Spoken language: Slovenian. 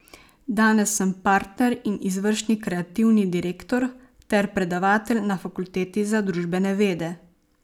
Danes sem partner in izvršni kreativni direktor ter predavatelj na Fakulteti za družbene vede.